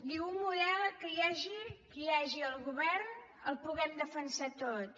diu un model que hi hagi que hi hagi al govern el puguem defensar tots